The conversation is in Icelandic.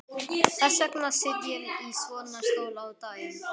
Þess vegna sit ég í svona stól á daginn.